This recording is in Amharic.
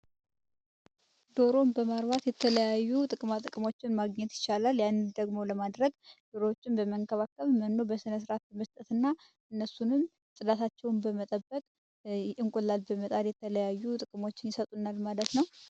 ዶሮን በማርባት የተለያዩ ጥቅማ ጥቅሞችን ማግኘት ይቻላል። ያንን ደግሞ ለማድረግ ዶሮዎችን በመንከባከብ መኖዎችን በስነ ስርዓት በመስጠትና እነሱንም ፅዳታቸውን በመጠበቅ እንቁላል በመጣል የተለያዩ ጥቅሞችን ይሰጡናል ማለት ነው።